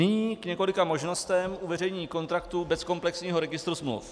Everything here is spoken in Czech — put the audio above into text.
Nyní k několika možnostem uveřejnění kontraktu bez komplexního registru smluv.